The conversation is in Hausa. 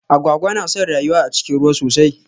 Agwagwa na son rayuwa a cikin ruwa sosai.